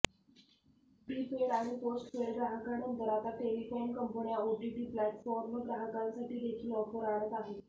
prepaid आणि postpaid ग्राहकांनंतर आता टेलिकॉम कंपन्या ओटीटी प्लेटफॉर्म ग्राहकांसाठी देखील ऑफर आणत आहे